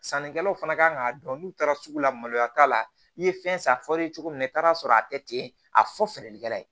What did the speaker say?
Sannikɛlaw fana ka kan k'a dɔn n'u taara sugu la maloya t'a la i ye fɛn san fɔ cogo min na i taara sɔrɔ a kɛ ten a fɔ feerelikɛla ye